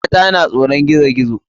Mata na tsoron gizo gizo.